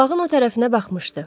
Bağın o tərəfinə baxmışdı.